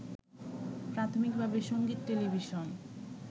প্রাথমিকভাবে সঙ্গীত, টেলিভিশন